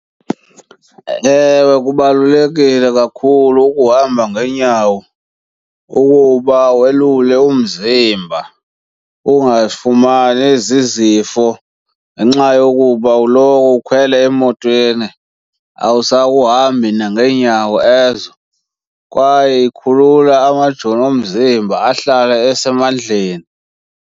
Ewe, kubalulekile kakhulu ukuhamba ngeenyawo ukuba welule umzimba ungazifumani ezi zizifo ngenxa yokuba uloko ukhwele emotweni, awusahambi nangeenyawo ezo. Kwaye ikhulule amajoni omzimba ahlale esemandleni.